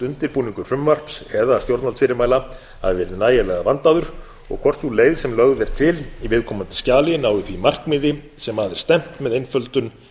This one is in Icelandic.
undirbúningur frumvarps eða stjórnvaldsfyrirmæla hafi verið nægilega vandaður og hvort sú leið sem lögð er til í viðkomandi skjali nái því markmiði sem að er stefnt með einföldum